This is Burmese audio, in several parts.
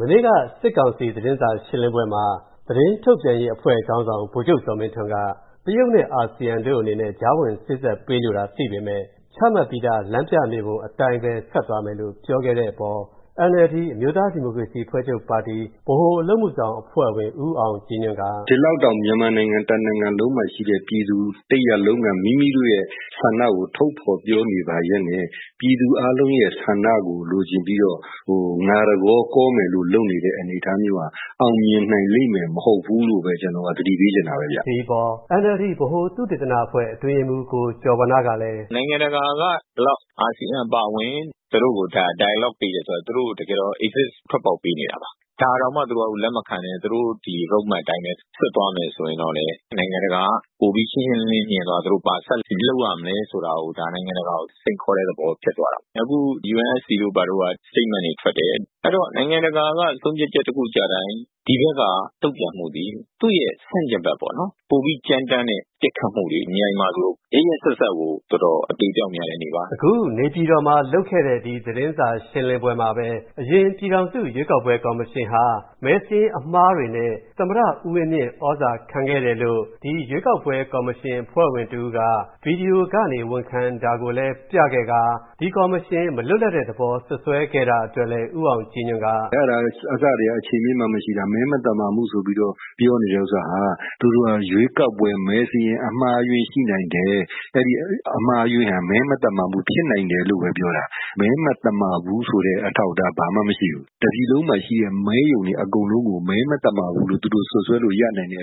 မနေ့က စစ်ကောင်စီ သတင်းစာရှင်းလင်းပွဲမှာ သတင်းထုတ်ပြန်ရေးခေါင်းဆောင် ဗိုလ်ချုပ်ဇော်မင်းထွန်းက တရုတ်နဲ့အာဆီယံတို့အနေနဲ့ကြားဝင်စေ့စပ်ပေးလိုတာသိပေမယ့် ချမှတ်ပြီးသား လမ်းပြမြေပုံအတိုင်းပဲ ဆက်သွားမယ်လို့ပြောခဲ့တဲ့အပေါ် NLD အမျိူးသားဒီမိုကရေစီအဖွဲ့ချုပ်ပါတီ ဗဟိုအလုပ်အမှုဆောင်အဖွဲ့ဝင် ဦးအောင်ကြည်ညွန့်က အခုလိုပြောပါတယ်။ “ ဒီလောက်တောင် မြန်မာနိုင်ငံတနိုင်ငံလုံးမှာရှိတဲ့ ပြည်သူတရပ်လုံးက မိမိတို့ရဲ့ ဆန္ဒကို ထုတ်ဖေါ်ပြောနေပါရက်နဲ့ပြည်သူအားလုံးရဲ့ဆန္ဒကို လိုချင်ပြီးတော့ ငါတကောကောမယ်လို့လုပ်နေတဲ့ အနေအထားမျိူးဟာ အောင်မြင်နိုင်လိမ့်မယ် မဟုတ်ဘူးလို့ပဲ ကျနော်ကတော့ သတိပေးချင်တာပဲဗျ” ဒီအပေါ် NLD ဗဟို သုတေသန အတွင်းရေးမှုး ကိုကျော်ဝဏ္ဏကလည်း “ နိုင်ငံတကာကလည်း အာဆီယံအပါအဝင် သူတို့ကို dialogue ပေးတယ်ဆိုတော့ သူတို့ကို တကယ်တော့ exit ထွက်ပေါက်ပေးနေတာပါ။ ဒါတောင်မှာ သူတို့ကလက်မခံပဲ သူတို့ Road Map အတိုင်းပဲ ဆက်သွားမယ်ဆိုလို့ရှိရင်လည်းပဲ နိုင်ငံတကာက ရှင်းရှင်းလင်းလင်းမြင်ပြီးတော့ သူတို့ဒါ နိုင်ငံတကာက ဘာဆက်လုပ်ရမလဲဆိုတာ နိုင်ငံတကာကို စိန်ခေါ်တဲ့ သဘောပေါ့။ အခု UNSC က statement တွေထွက်တယ်။ အဲဒီတော့ နိုင်ငံတကာက ဆုံးဖြတ်ချက်တခုကျတိုင်း ဒီဘက်က တုံ့ပြန်မှဟာ ဆန့်ကျင်ဘက်ပေါ့နော်။ ပိုပြီးကြမ်းတမ်းတဲ့ ပစ်ခတ်မှုတွေ။ မြိုင်မှာဆို ရက်ရက်စက်စက်ကို တော်တော် အသေအပျောက်များတဲ့နေ့ပါ။” အခု နေပြည်တော်မှာလုပ်ခဲ့တဲ့ သတင်းစာရှင်းလင်းပွဲမှာပဲ အရင်ပြည်ထောင်စုရွေးကောက်ပွဲကော်မရှင်ဟာ မဲစာရင်းအမှားတွေနဲ့သမ္မတ ဦးဝင်းမြင့်သြဇာခံခဲ့တယ်လို့ ဒီရွေးကောက်ပွဲကော်မရှင်အဖွဲ့ဝင်တဦးက ဗွီဒီယိုကနေ ဝန်ခံတာကိုလည်း ပြခဲ့ကာ ဒီကော်မရှင်မလွတ်လပ်တဲ့သဘောစွတ်စွဲ ခဲ့တာကိုလည်း ဦးအောင်ကြည်ညွန့်က အခုလိုပြောပါတယ်။ “ အဲဒါက အစထဲက အခြေအမြစ်မှ မရှိတာ။ မဲမသမာမှုဆိုပြီးတော့ ပြောနေတဲ့ ဥစ္စာဟာ သူတို့က ရွေးကောက်ပွဲ မဲစာရင်းအမှားအယွင်းရှိနိုင်တယ်။ အဲဒီအမှားအယွင်းဟာ မဲမသမာမှုဖြစ်နိုင်တယ်လို့ပဲပြောတာ။ မဲမသမာဘူးဆိုတဲ့ အထောက်အထားဘာမှ မရှိဘူး။ တပြည်လုံးမှာရှိတဲ့ မဲရုံတွေအကုန်လုံးကို မဲမသမာဘူးလို့သူတို့စွတ်စွဲတဲ့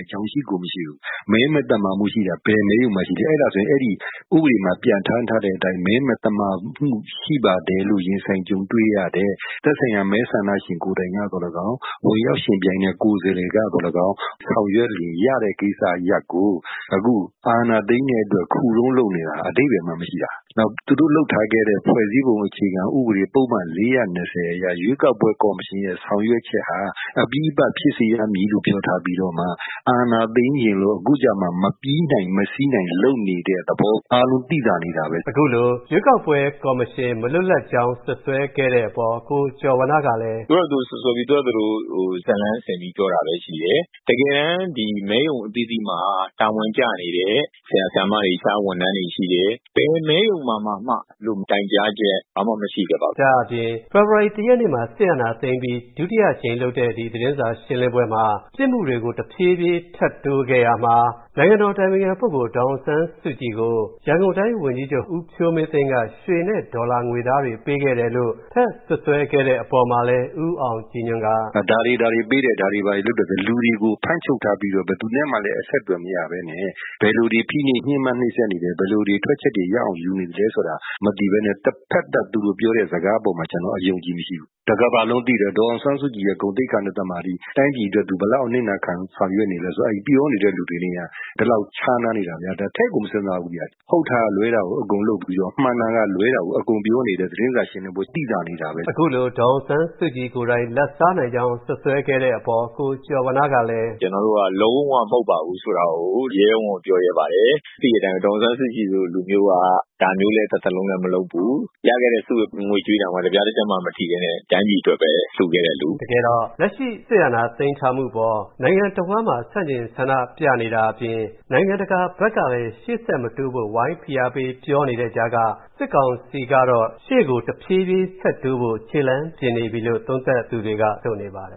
အကြောင်း ရှိကို မရှိဘူး။ မဲမသမာမှုရှိတာ ဘယ်မဲရုံမှာရှိလဲ။ အဲဒါဆို အဲဒီ ဥပဒေမှာ ပြဌာန်းထားတဲ့အတိုင်းပဲ မဲမသမာမှုရှိပါတယ်လို့ ရင်ဆိုင်ကြုံတွေ့ရ တဲ့ သက်ဆိုင်ရာ မဲဆန္ဒရှင်ကိုယ်တိုင်ကသော်လည်းကောင်း၊ ဝင်ရောက်ယှဉ်ပြိုင်တဲ့ ကိုယ်စားလှယ်ကသော်လည်းကောင်း၊ ဆောင်ရွက်လို့ရတဲ့ကိစ္စရပ်ကို အခု အာဏာသိမ်းတဲ့အတွက် ခုတုံးလုပ်နေတာ အဓိပ္ပါယ်မှ မရှိတာ။ နောက်ပြီးတော့ သူတို့လုပ်ထားခဲ့တဲ့ ဖွဲ့စည်းပုံအခြေခံဥပဒေ ပုဒ်မ ၄၀၂ အရ ရွေးကောက်ပွဲ ကော်မရှင်ရဲ့ ဆောင်ရွက်ချက်ဟာ အပြီးသပ်ဖြစ်စေရမည်လို့ ပြောထားပြီးမှ အာဏာသိမ်းချင်လို့အခုကျမှ မပြီးနိုင်၊ မစီးနိုင်လုပ်နေတဲ့ သဘော အားလုံးသိသာနေတာပဲ”။ အခုလို ရွေးကောက်ပွဲကော်မရှင်မလွတ်လပ်ကြောင်း စွတ်စွဲခဲ့တဲ့အပေါ် ကိုကျော်ဝဏ္ဏကလည်း အခုလို ပြောပါတယ်။ “သူတို့ဖာသာ သူတို့စွတ်စွဲပြီးတော့ သူတို့ဘာသူတို့ဇာတ်လမ်းဆင်ပြီးတော့ ပြောတာပဲရှိတယ်။ တကယ်တမ်း မဲရုံအသီးသီးမှာ တာဝန်ကျနေတဲ့ ဆရာဆရာမတွေ၊ အခြားဝန်ထမ်းတွေရှိတယ်။ ဘယ်မဲရုံမှာမှ အဲလို တိုင်ကြားချက်မရှိခဲ့ပါဘူး။” ဒါ့အပြင် ဖေဖော်ဝါရီ ၁ ရက်နေ့မှာ စစ်အာဏာသိမ်းပြီး ဒုတိယအကြိမ်လုပ်တဲ့ ဒီ သတင်းစာရှင်းလင်းပွဲမှာ ပစ်မှုတွေကို တဖြည်းဖြည်းထပ်တိုးခဲ့ရာမှာ နိုင်ငံတော်အတိုင်ပင်ခံပုဂ္ဂိုလ် ဒေါ်အောင်ဆန်းစုကြည်ကို ရန်ကုန်တိုင်းဝန်ကြီးချုပ် ဦးဖြိုးမင်းသိန်းက ရွှေ နဲ့ဒေါ်လာငွေသားတွေ ပေးခဲ့တယ်လို့ထပ်စွတ်စွဲခဲ့တဲ့အပေါ်မှာလည်း ဦးအောင်ကြည်ညွန့်က အခုလို ပြောပါတယ်။ “ဒါတွေ ဒါတွေပေးတယ်။ ဒါတွေ ဘာတွေလုပ်တယ်ဆိုပြီးတော့။ လူတွေကို ဖမ်းချုပ်ထားပြီးတော့ ဘယ်သူနဲ့မှလည်း အဆက်အသွယ်မရပဲနဲ့ ဘယ်လို တွေဖိနှိပ် ညှင်းပမ်းနှိပ်စက်နေသလဲ၊ ဘယ်လိုတွေ ထွက်ချက်ရအောင်ယူနေသလဲ ဆိုတာမသိပဲနဲ့တဘက်သတ် သူတို့ပြောတဲ့ စကားအပေါ်မှာ ကျနော်က အယုံအကြည်မရှိဘူး။ တကမ္ဘာလုံးသိတယ် ။ ဒေါ်အောင်ဆန်းစုကြည်ရဲ့ ဂုဏ်သိက္ခာနဲ့သမာဓိ။ တိုင်းပြည်အတွက် သူဘယ်လောက်ထိ အနစ်နာခံပြီးဆောင်ရွက်နေလဲဆိုတာ အဲဒီပြောနေတဲ့သူတွေနဲ့ က ဒီလောက်ခြားနားနေတာများ ထည့်ကို မစဉ်းစားဘူးဗျ။ ဟုတ်တာကလွဲတာကို အကုန်လုပ်ပြီးတော့၊ မှန်တာကလွဲတာကို အကုန်ပြောနေတဲ့ သူတို့သတင်းစာရှင်းလင်းပွဲက သိသာနေတာပဲ။” အခုလို ဒေါ်အောင်ဆန်းစုကြည်ကိုယ်တိုင် လာဒ်စားနိုင်ကြောင်းစွတ်စွဲတဲ့အပေါ် ကိုကျော်ဝဏ္ဏကလည်း “ ကျနော်တို့က လုံးဝမဟုတ်ပါဘူးဆိုတာကို ရဲရဲဝံ့ဝံ့ပြောရဲပါတယ်။ သိတဲ့အတိုင်းပဲ ဒေါ်အောင်ဆန်းစုကြည်လို လူမျိူးက ဒါမျိူးလည်းတသက်လုံးမလုပ်ဘူး။ ရခဲ့တဲ့ ဆုငွေကြေးတောင်မှ တပြားတချပ်မှမထိပဲနဲ့ တိုင်းပြည်အတွက်ပဲ လှူခဲ့တဲ့လူ။” တကယ်တော့ လက်ရှိစစ်အာဏာသိမ်းထားမှုအပေါ် နိုင်ငံတဝှမ်းမှာ ဆန့်ကျင်ဆန္ဒပြနေတာကဖြင့် နိုင်ငံတကာဘက်ကလည်း ရှေ့ဆက်မတိုးဖို့ဝိုင်းဖိအားပေးပြောနေတဲ့ ကြားကမှ စစ်ကောင်စီကတော့ တဖြေးဖြေးရှေ့ကို ဆက်တိုးဖို့ခြေလှမ်းပြင်နေပြီလို့သုံးသပ်သူတွေက ဆိုနေပါတယ